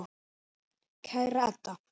Kæra Edda.